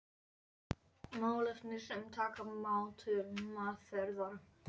Málefni sem taka má til meðferðar.